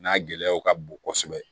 N'a gɛlɛyaw ka bon kosɛbɛ